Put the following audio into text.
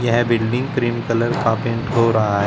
यह building cream colour का पेंट हो रहा है।